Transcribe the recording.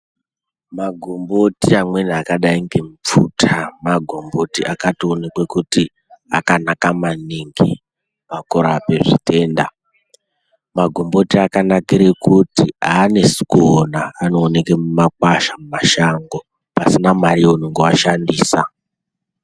Magomboti amweni akadai ngemupfuta magomboti akatoonekwa kuti akanaka maningi pakurape zvitenda magomboti akanakira kuti aanesi kuona anooneke mumakwasha mumashango pasina mare yeunenge washandisa.